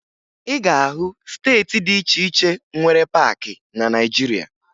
Ị ga-ahụ steeti dị iche iche nwere paakị na Naịjirịa